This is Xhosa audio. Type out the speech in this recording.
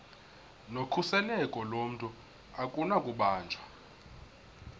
nokhuseleko lomntu akunakubanjwa